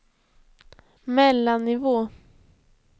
mellannivå